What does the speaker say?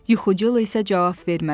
Yuxucul isə cavab vermədi.